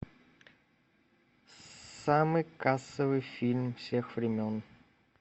самый кассовый фильм всех времен